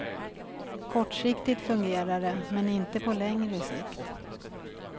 Kortsiktigt fungerar det, men inte på längre sikt.